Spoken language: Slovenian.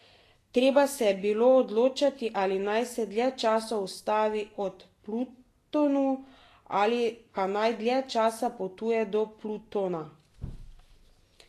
Treba se je bilo odločati, ali naj se dlje časa ustavi ob Plutonu ali pa naj dlje časa potuje do Plutona.